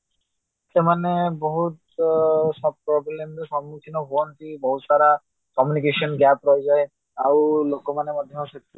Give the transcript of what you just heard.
ସେମାନେ ବହୁତ problemର ସମ୍ମୁଖୀନ ହୁଅନ୍ତି ବହୁତ ସାରା communication gape ରାହିଯାଏ ଆଉ ଲୋକମାନେ ମଧ୍ୟ ବହୁତ